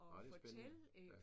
Ej det spændende ja